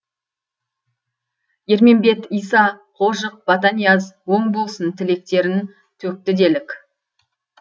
ермембет иса қожық батанияз оң болсын тілектерін төкті делік